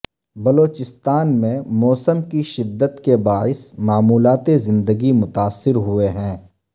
بلوچستان میں موسم کی شدت کے باعث معمولات زندگی متاثر ہوئے ہیں